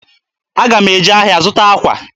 Aga m eje ahịa zụta akwa.